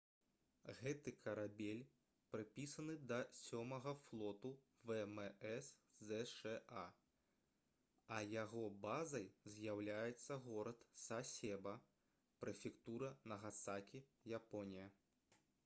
гэты карабель прыпісаны да сёмага флоту вмс зша а яго базай з'яўляецца горад сасеба прэфектура нагасакі японія